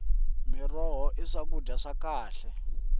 miroho hi swakudya swa khale